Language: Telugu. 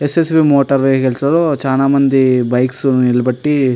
స్. స్. వీ. మోటార్ వెహికల్స్ చానా మంది బైక్స్ నిలబెట్టి --